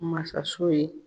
Masaso ye.